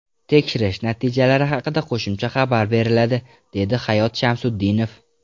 Tekshirish natijalari haqida qo‘shimcha xabar beriladi”, dedi Hayot Shamsutdinov.